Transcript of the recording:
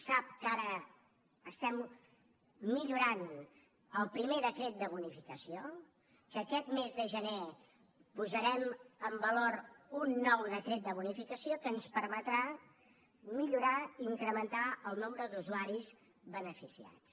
sap que ara estem millorant el primer decret de bonificació que aquest mes de gener posarem en valor un nou decret de bonificació que ens permetrà millorar i incrementar el nombre d’usuaris beneficiats